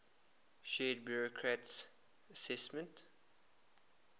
shared burckhardt's assessment